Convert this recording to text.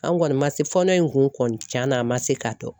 An kɔni ma se fɔ ne kun tiɲɛna an ma se ka dɔn.